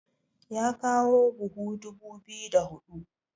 ya kawo buhu dubu biyu da hudu